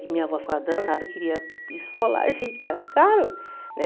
Que minha avó ficava danada, queria esfolar a gente, que era caro, né?